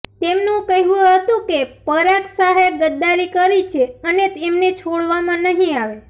તેમનું કહેવું હતું કે પરાગ શાહે ગદ્દારી કરી છે અને એમને છોડવામાં નહીં આવે